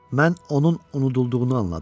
Mən onun unudulduğunu anladım.